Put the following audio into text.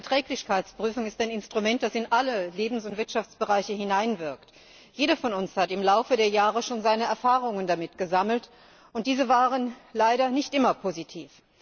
Die Umweltverträglichkeitsprüfung ist ein Instrument, das in alle Lebens und Wirtschaftsbereiche hineinwirkt. Jeder von uns hat im Laufe der Jahre schon seine Erfahrungen damit gesammelt, und diese waren leider nicht immer positiv.